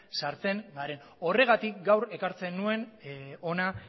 sartzen garen horregatik gaur ekartzen nuen hona